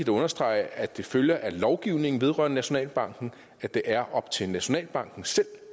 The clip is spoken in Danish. at understrege at det følger af lovgivningen vedrørende nationalbanken at det er op til nationalbanken selv